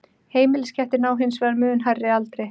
Heimiliskettir ná hins vegar mun hærri aldri.